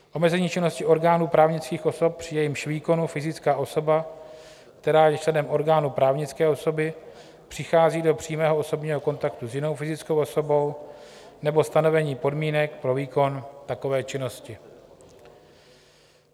Omezení činnosti orgánů právnických osob, při jejímž výkonu fyzická osoba, která je členem orgánu právnické osoby, přichází do přímého osobního kontaktu s jinou fyzickou osobou, nebo stanovení podmínek pro výkon takové činnosti.